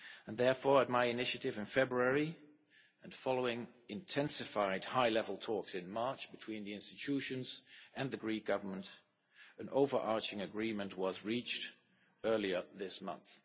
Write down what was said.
Therefore, at my initiative in February and following intensified high level talks in March between the Institutions and the Greek Government, an over-arching agreement was reached earlier this month.